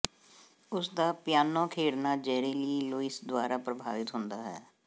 ਉਸ ਦਾ ਪਿਆਨੋ ਖੇਡਣਾ ਜੈਰੀ ਲੀ ਲੂਇਸ ਦੁਆਰਾ ਪ੍ਰਭਾਵਿਤ ਹੁੰਦਾ ਹੈ